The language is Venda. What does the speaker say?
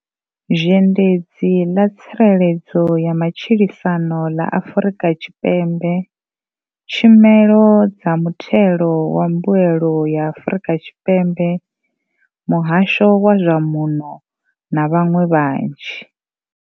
Zhendedzi ḽa tsireledzo ya matshilisano ḽa Afrika Tshipembe, tshumelo dza muthelo wa mbuelo ya Afrika Tshipembe, muhasho wa zwa muno na vhaṅwe vhanzhi.